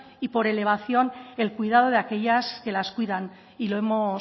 y por elevación el cuidado de aquellas que las cuidan y lo hemos